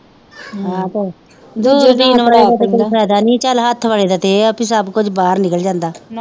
ਦੂਰਬੀਨ ਵਾਲੇ ਦਾ ਤੇ ਕੋਈ ਫਿਆਦਾ ਨੀ ਚੱਲ ਹੱਥ ਵਾਲੇ ਦਾ ਇਹ ਆ ਸਭ ਕੁਜ ਬਾਹਰ ਨਿਕਲ ਜਾਂਦਾ